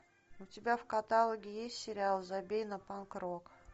у тебя в каталоге есть сериал забей на панк рок